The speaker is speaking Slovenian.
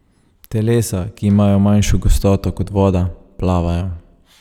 Telesa, ki imajo manjšo gostoto kot voda, plavajo.